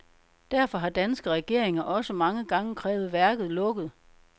Derfor har danske regeringer også mange gange krævet værket lukket.